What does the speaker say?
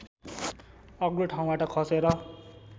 अग्लो ठाउँबाट खसेर